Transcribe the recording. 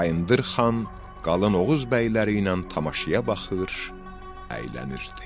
Bayındır xan qalan Oğuz bəyləri ilə tamaşaya baxır, əylənirdi.